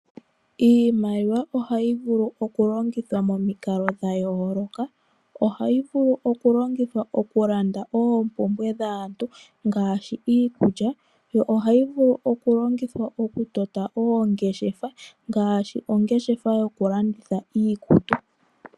Iimaliwa ohayi vulu okulongithwa momikalo dhayoloka, ohayi vulu okulongithwa okulanda oompumbwe dhaantu ngaashi iikulya yo ohayi vulu okulongithwa okutota ongeshefa ngaashi ongeshefa yokulanditha iikutu.